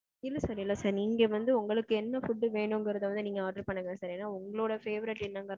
இல்ல sir. இல்ல sir. நீங்க வந்து உங்களுக்கு என்ன food வேணுங்கிறது வந்து நீங்க order பண்ணுங்க sir ஏன்னா உஙக்ளோட favourite என்னங்குறது வந்து